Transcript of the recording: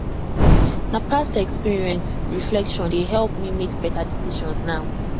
na past experience reflection dey help me make beta decisions now